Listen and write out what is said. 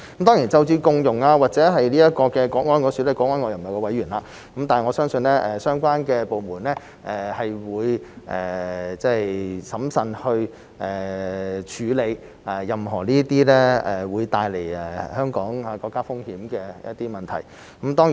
當然就着共融或國安方面，我不是國安委委員，但我相信相關的部門會審慎地處理任何會帶來香港和國家風險的問題。